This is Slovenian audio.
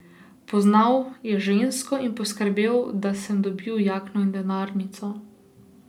Poznal je žensko in poskrbel, da sem dobil jakno in denarnico.